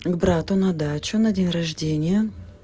к брату на дачу на день рождение